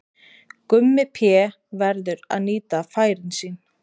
Gummi Pé verður að nýta færin sín!